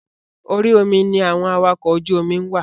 Orí omi ni àwọn awakọ̀ ojú omi ń wà.